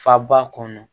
Faba kɔnɔ